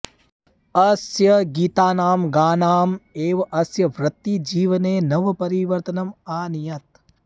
अस्य गीतानां गानाम् एव अस्य वृत्तिजीवने नवपरिवर्तनम् आनयत्